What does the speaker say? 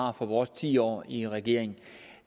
har fra vores ti år i regering